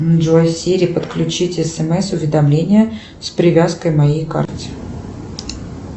джой сири подключить смс уведомление с привязкой к моей карте